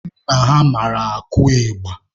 Nna ha mara akụ ịgba.